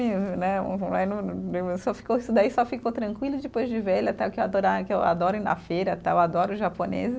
E né, vai no, só ficou isso daí, só ficou tranquilo depois de velha, tá, que eu adora, que eu adoro ir na feira, tal, adoro os japoneses.